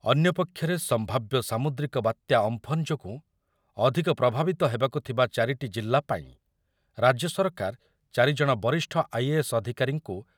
ଅନ୍ୟପକ୍ଷରେ ସମ୍ଭାବ୍ୟ ସାମୁଦ୍ରିକ ବାତ୍ୟା ଅମ୍ଫନ୍ ଯୋଗୁଁ ଅଧିକ ପ୍ରଭାବିତ ହେବାକୁ ଥିବା ଚାରିଟି ଜିଲ୍ଲାପାଇଁ ରାଜ୍ୟ ସରକାର ଚାରି ଜଣ ବରିଷ୍ଠ ଆଇ ଏ ଏସ୍ ଅଧିକାରୀଙ୍କୁ